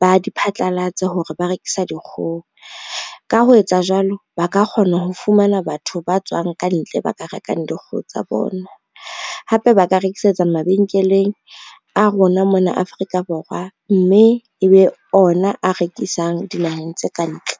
ba di phatlalatse hore ba rekisa dikgoho. Ka ho etsa jwalo, ba ka kgona ho fumana batho ba tswang kantle ba ka rekang dikgoho tsa bona, hape ba ka rekisetsa mabenkeleng a rona mona Afrika Borwa, mme ebe ona a rekisang dinaheng tse ka ntle.